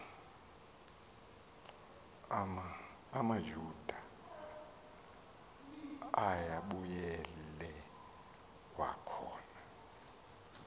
amayuda ayebuyele kwakhona